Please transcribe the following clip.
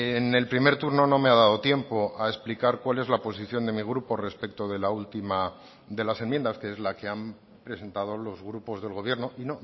en el primer turno no me ha dado tiempo a explicar cuál es la posición de mi grupo respecto de la última de las enmiendas que es la que han presentado los grupos del gobierno y